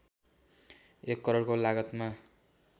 १ करोडको लागतमा